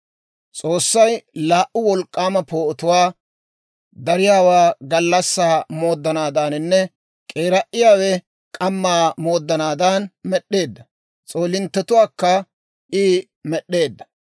S'oossay laa"u wolk'k'aama poo'otuwaa, dariyaawe gallassaa mooddanaadaninne k'eera"iyaawe k'ammaa mooddanaadan med'd'eedda; s'oolinttetuwaakka I med'd'eedda.